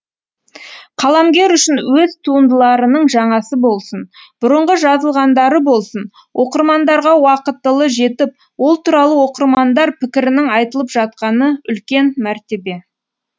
қаламгер үшін өз туындыларының жаңасы болсын бұрынғы жазылғандары болсын оқырмандарға уақытылы жетіп ол туралы оқырмандар пікірінің айтылып жатқаны үлкен мәртебе